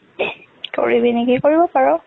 কৰিবি নেকি? কৰিব পাৰ।